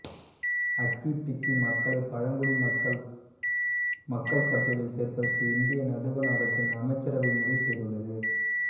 ஹக்கி பிக்கி மக்களை பழங்குடி மக்கள் பட்டியலில் சேர்ப்பதற்கு இந்திய நடுவண் அரசின் அமைச்சரவை முடிவு செய்துள்ளது